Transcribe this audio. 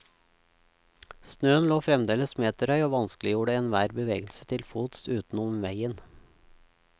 Snøen lå fremdeles meterhøy og vanskeliggjorde enhver bevegelse til fots utenom vegen.